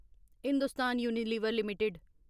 Hindustan Unilever limited